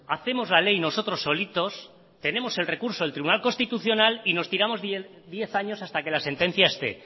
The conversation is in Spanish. hacemos la ley nosotros solitos tenemos el recurso del tribunal constitucional y nos tiramos diez años hasta que la sentencia esté